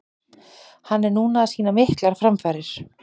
Hann er núna að sýna miklar framfarir.